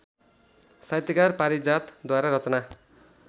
साहित्यकार पारिजातद्वारा रचना